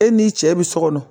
E n'i cɛ bi so kɔnɔ